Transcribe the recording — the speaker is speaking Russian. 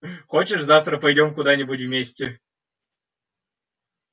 хочешь завтра пойдём куда-нибудь вместе